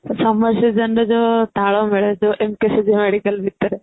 summer season ରେ ଯୋଉ ତାଳ ମିଳେ Medical ଭିତରେ